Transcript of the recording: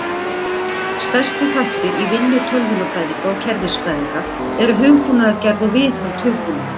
Stærstu þættir í vinnu tölvunarfræðinga og kerfisfræðinga eru hugbúnaðargerð og viðhald hugbúnaðar.